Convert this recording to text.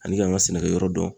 Ani k'an ka sɛnɛkɛyɔrɔ dɔn.